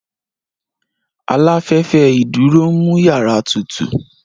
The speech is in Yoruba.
Aláfẹ́fẹ́ ìdúró ń mú yàrá tutù